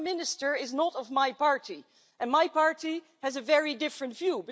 The Prime Minister is not of my party, and my party has a very different view.